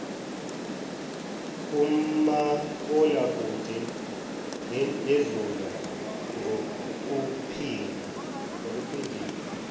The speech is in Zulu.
kumabonwakude yedlula ngokuphindiwe